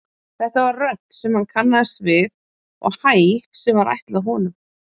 Þetta var rödd sem hann kannaðist við og hæ sem var ætlað honum.